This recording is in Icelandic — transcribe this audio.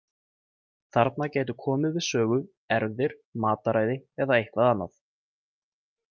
Þarna gætu komið við sögu erfðir, mataræði eða eitthvað annað.